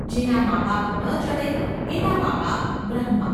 જેનાં માબાપ ન જડે એનાં મા બાપ બ્રહ્મા !